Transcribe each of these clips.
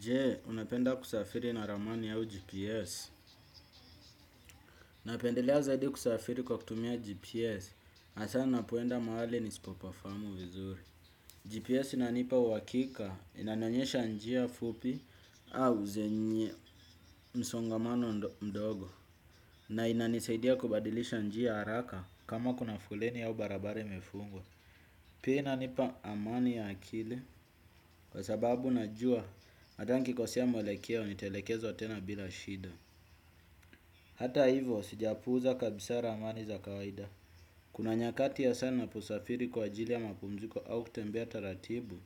Je, unapenda kusafiri na ramani yao GPS? Napendelea zaidi kusafiri kwa kutumia GPS, hasaa unapoenda mahali nisipopafahamu vizuri. GPS inanipa uhakika, inanionyesha njia fupi au zenye msongamano mdogo. Na inanisaidia kubadilisha njia haraka kama kuna foleni au barabara imefungwa. Pia inanipa amani ya akili kwa sababu unajua hata nikikosea mwelekeo nitaelekezwa tena bila shida. Hata hivyo, sijapuuza kabisa ramani za kawaida. Kuna nyakati hasaa ninaposafiri kwa ajili ya mapumziko au kutembea taratibu,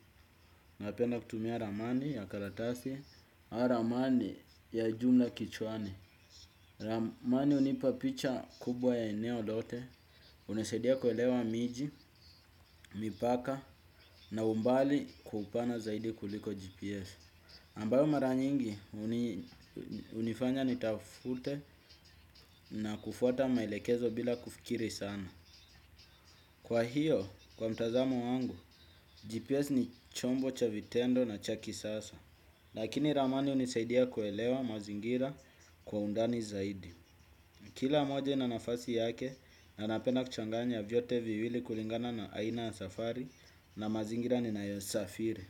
napenda kutumia ramani ya karatasi au ramani ya jumla kichwani. Ramani hunipa picha kubwa ya eneo lote, hunisaidia kuelewa miji, mipaka na umbali kwa upana zaidi kuliko GPS. Ambao mara nyingi hunifanya nitafute na kufuata maelekezo bila kufikiri sana. Kwa hiyo, kwa mtazamo wangu, GPS ni chombo cha vitendo na cha kisasa. Lakini ramani hunisaidia kuelewa mazingira kwa undani zaidi. Kila moja ina nafasi yake, na napenda kuchanganya vyote viwili kulingana na aina ya safari na mazingira ninayosafiri.